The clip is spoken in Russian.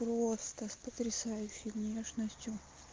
просто с потрясающей внешностью